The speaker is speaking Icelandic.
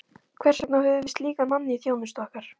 Hvers vegna höfum við slíkan mann í þjónustu okkar?